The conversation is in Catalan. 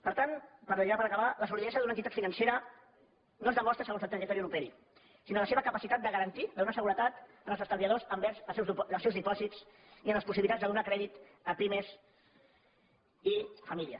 per tant ja per aca·bar la solidesa d’una entitat financera no es demostra segons el territori on operi sinó en la seva capacitat de garantir de donar seguretat als estalviadors envers els seus dipòsits i en les possibilitats de donar crèdit a pi·mes i famílies